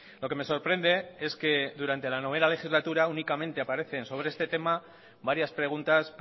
lo que me sorprende es que durante la novena legislatura únicamente aparecen sobre este tema varias preguntas